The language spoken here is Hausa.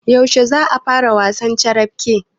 Yaushe za a fara wasan carafke?